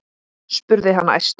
spurði hann æstur.